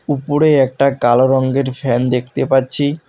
উপরে একটা কালো রঙ্গের ফ্যান দেখতে পাচ্ছি।